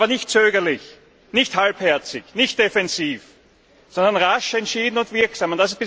Aber nicht zögerlich, nicht halbherzig, nicht defensiv, sondern rasch, entschieden und wirksam.